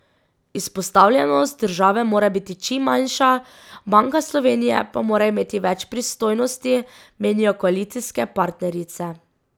Izpostavljenost države mora biti čim manjša, Banka Slovenije pa mora imeti več pristojnosti, menijo koalicijske partnerice.